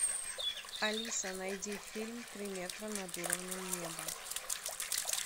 алиса найди фильм три метра над уровнем неба